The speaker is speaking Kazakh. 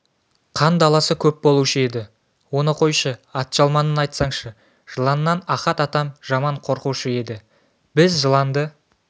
қандаласы көп болушы еді оны қойшы атжалманын айтсаңшы жыланнан ахат атам жаман қорқушы еді біз жыланды